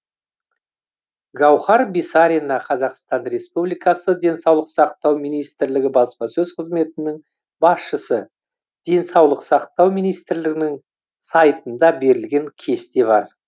гауһар бисарина қазақстан республикасы денсаулық сақтау министрлігі баспасөз қызметінің басшысы денсаулық сақтау министрлігінің сайтында берілген кесте бар